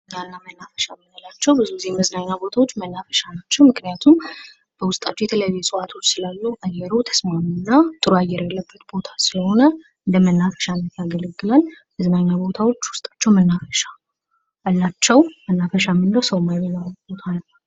መናፈሻ ምንላቸው ብዙ ጊዜ መዝናኛ ቦታዎች መናፈሻ ናቸው ምክንያቱም በውስጣቸው የተለያዩ እፅዋቶች ስላሉ አየሩ ተስማሚ እና ጥሩ አየር ያለበት ቦታ ስለሆነ ለመናፈሻነት ያገለግላል ። መዝናኛ ቦታዎች ውስጣቸው መናፈሻ መናፈሻው መናፈሻ ምንለው ሰው ማይበዛበት ቦታ ነው ።